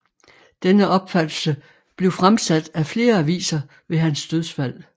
Denne opfattelse blev fremsat af flere aviser ved hans dødsfald